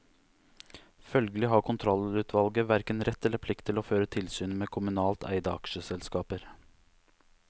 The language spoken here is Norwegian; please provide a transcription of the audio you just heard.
Følgelig har kontrollutvalget hverken rett eller plikt til å føre tilsyn med kommunalt eide aksjeselskaper.